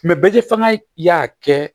Mɛ bɛɛ fanga y'a kɛ